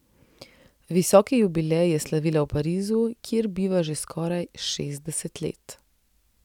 Visoki jubilej je slavila v Parizu, kjer biva že skoraj šestdeset let.